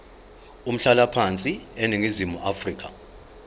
umhlalaphansi eningizimu afrika